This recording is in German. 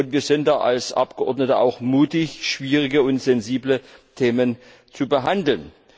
Wir sind da als Abgeordnete auch mutig, schwierige und sensible Themen zu behandeln.